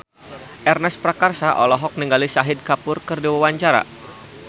Ernest Prakasa olohok ningali Shahid Kapoor keur diwawancara